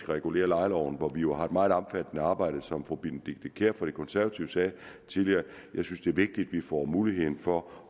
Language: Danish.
regulere lejeloven hvor vi jo har et meget omfattende arbejde som fru benedikte kiær fra de konservative sagde tidligere jeg synes det er vigtigt at vi får muligheden for